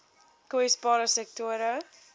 kwesbare sektore